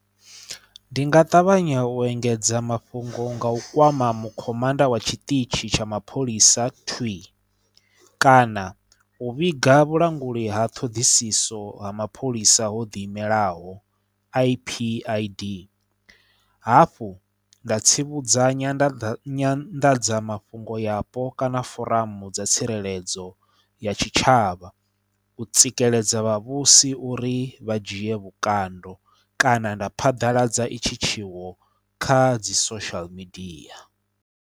Ndi nga ṱavhanya u engedza mafhungo nga u kwama mu khomanda wa tshiṱitshi tsha mapholisa twii kana u vhiga vhulanguli ha ṱhoḓisiso ha mapholisa ho ḓi imelaho IPID hafhu nda tsivhudza nya nda nyanḓadzamafhungo yapo kana foramu dza tsireledzo ya tshitshavha u tsikeledza vhavhusi uri vha dzhie vhukando kana nda phadaladza i tshi tshiwo kha dzi social media.